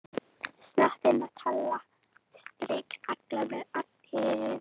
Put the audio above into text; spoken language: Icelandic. Ég þakka, segir hann og hneigir sig fyrir henni í annað sinn á þessu kvöldi.